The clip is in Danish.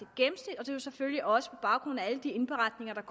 et gennemsnit og det er selvfølgelig også på baggrund af alle de indberetninger der